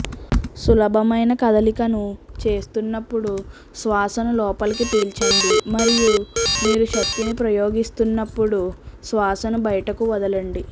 సులభమైన కదలికను చేస్తున్నప్పుడు శ్వాసను లోపలికి పీల్చండి మరియు మీరు శక్తిని ప్రయోగిస్తున్నప్పుడు శ్వాసను బయటకు వదలండి